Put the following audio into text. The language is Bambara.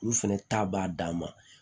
Olu fɛnɛ ta b'a dan ma